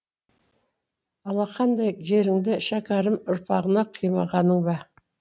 алақандай жеріңді шәкәрім ұрпағына қимағаның ба